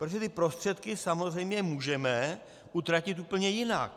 Protože ty prostředky samozřejmě můžeme utratit úplně jinak.